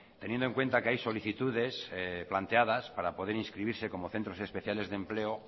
teniendo en cuenta que hay solicitudes planteadas para poder inscribirse como centros especiales de empleo